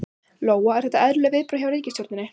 Lóa: Eru þetta eðlileg viðbrögð hjá ríkisstjórninni?